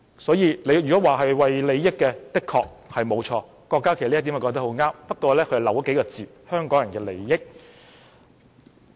所以，郭家麒議員說為了利益的確沒有錯，這一點十分正確，不過缺少了數個字，是"香港人的"利益。